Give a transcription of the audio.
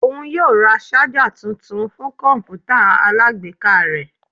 Oun yoo ra ṣaja tuntun fun kọǹpútà alágbèéká rẹ.